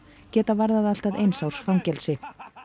geta verið allt að eins árs fangelsi